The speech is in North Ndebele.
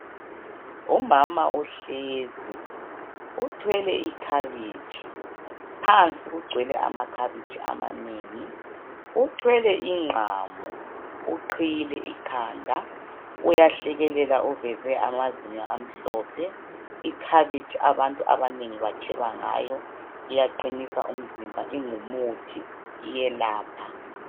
Umama uhlezi, uthwele ikhabitshi. Phansi kugcwele amakhabitshi amanengi. Uthwele ingqamu. Uqhiyile ikhanda, uyahlekelela uveze amazinyo amhlophe. Ikhabitshi abantu abanengi batsheba ngayo. Iyaqinisa umzimba, ingumuthi, iyelapha.